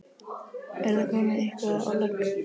Er það komið eitthvað á legg?